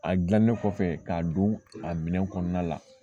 A gilannen kɔfɛ k'a don a minɛ kɔnɔna la